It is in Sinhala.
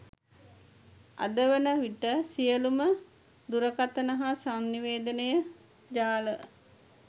අදවන විට සියලුම දුරකථන හා සන්නිවේදන ජාල